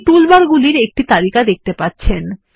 আপনি টুলবারগুলির একটি তালিকা দেখতে পাবেন